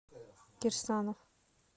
кирсанов